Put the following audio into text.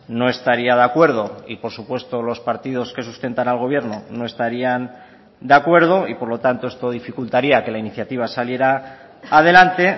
no estaría de acuerdo y por supuesto los partidos que sustentan al gobierno no estarían de acuerdo y por lo tanto esto dificultaría que la iniciativa saliera adelante